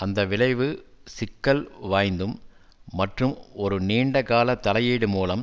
அந்த விளைவு சிக்கல் வாய்ந்தும் மற்றும் ஒரு நீண்டகால தலையீடு மூலம்